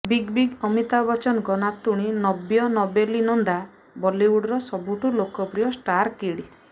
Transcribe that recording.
big B Amitabh ବଚ୍ଚନଙ୍କ ନାତୁଣୀ ନବ୍ୟା ନବେଲି ନନ୍ଦା ବଲିଉଡର ସବୁଠୁ ଲୋକପ୍ରିୟ ଷ୍ଟାର୍ କିଡ୍